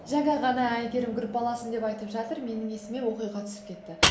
жаңа ғана әйгерім группаласым деп айтып жатыр менің есіме оқиға түсіп кетті